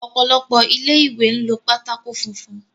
Ọ̀pọ̀lọpọ̀ ilé ìwé ń lo pátákó funfun.